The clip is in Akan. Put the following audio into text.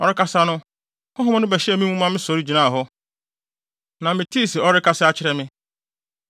Ɔrekasa no, Honhom no bɛhyɛɛ me mu maa me so gyinaa hɔ, na metee se ɔrekasa kyerɛ me.